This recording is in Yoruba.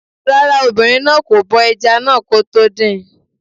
Rárá, obìnrin náà kò bọ ẹja náà kó tó dín in